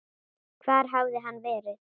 Hvar hafði hann verið?